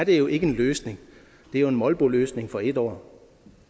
jo ikke en løsning det er en molboløsning for en år